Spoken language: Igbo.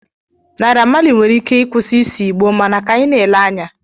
Naira Mali nwere ike ịkwụsị ise Igbo mana ka anyị na-ele anya